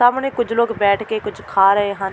ਸਾਹਮਣੇ ਕੁੱਝ ਲੋਕ ਬੈਠ ਕੇ ਕੁੱਝ ਖਾ ਰਹੇ ਹਨ।